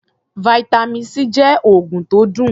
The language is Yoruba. Vitamin C jẹ́ oògùn tó dùn.